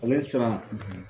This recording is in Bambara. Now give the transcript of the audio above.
Ale sira